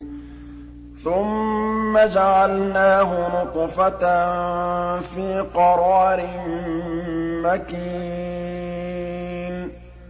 ثُمَّ جَعَلْنَاهُ نُطْفَةً فِي قَرَارٍ مَّكِينٍ